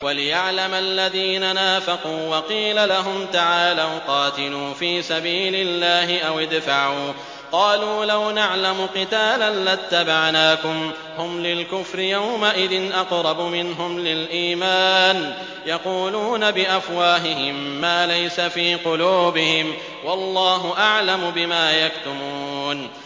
وَلِيَعْلَمَ الَّذِينَ نَافَقُوا ۚ وَقِيلَ لَهُمْ تَعَالَوْا قَاتِلُوا فِي سَبِيلِ اللَّهِ أَوِ ادْفَعُوا ۖ قَالُوا لَوْ نَعْلَمُ قِتَالًا لَّاتَّبَعْنَاكُمْ ۗ هُمْ لِلْكُفْرِ يَوْمَئِذٍ أَقْرَبُ مِنْهُمْ لِلْإِيمَانِ ۚ يَقُولُونَ بِأَفْوَاهِهِم مَّا لَيْسَ فِي قُلُوبِهِمْ ۗ وَاللَّهُ أَعْلَمُ بِمَا يَكْتُمُونَ